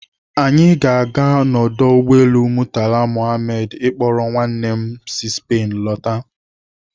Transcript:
Anyị ga-aga na ọdụ ụgbọelu Murtala Muhammed ịkpọrọ nwanne m Spain.